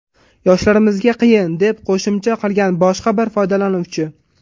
Yoshlarimizga qiyin”, deb qo‘shimcha qilgan boshqa bir foydalanuvchi.